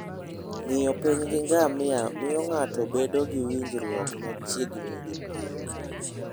Ng'iyo piny gi ngamia miyo ng'ato bedo gi winjruok machiegni gi piny.